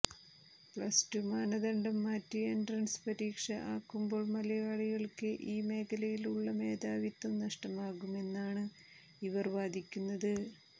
plus two മാനദണ്ഡം മാറ്റി entrance പരീക്ഷ ആക്കുമ്പോൾ മലയാളികൾക്ക ഈ മേഖലയിൽ ഉള്ള മേധാവിത്വം നഷ്ടമാകുമെന്നുമാണ് ഇവർ വാദിക്കുന്നത്